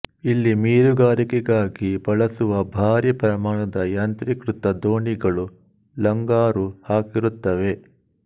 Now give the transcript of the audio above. ಇಲ್ಲಿ ಮೀನುಗಾರಿಕೆಗಾಗಿ ಬಳಸುವ ಭಾರಿ ಪ್ರಮಾಣದ ಯಾಂತ್ರಿಕೃತ ದೋಣಿಗಳು ಲಂಗರು ಹಾಕಿರುತ್ತವೆ